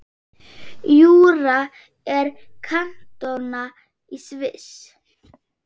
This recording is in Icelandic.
Júra er kantóna í Sviss.